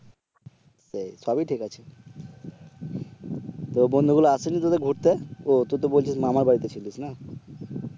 সেই সবই ঠিক আছে তো বন্ধুগুলো আসেনি তোদের ঘুরতে ও তুই তো বলছিস মামার বাড়িতে ছিলিস না